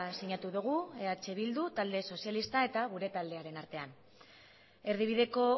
sinatu dugu eh bildu talde sozialista eta gure taldearen artean erdibideko